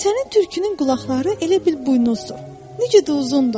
Sənin tülkünün qulaqları elə bil buynuzdur, necə də uzundur!